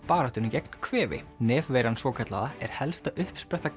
baráttunni gegn kvefi svokallaða er helsta uppspretta